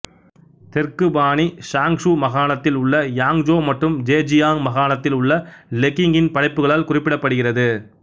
தெற்கு பாணி சியாங்சு மாகாணத்தில் உள்ள யாங்ஜோ மற்றும் ஜெஜியாங் மாகாணத்தில் உள்ள லெக்கிங்கின் படைப்புகளால் குறிப்பிடப்படுகிறது